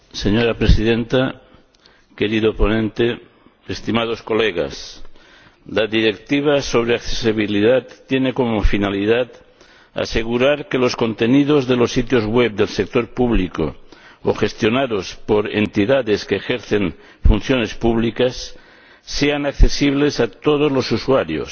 Señora Presidenta, querido ponente, estimados colegas, la Directiva sobre accesibilidad tiene como finalidad asegurar que los contenidos de los sitios web del sector público o gestionados por entidades que ejercen funciones públicas sean accesibles a todos los usuarios,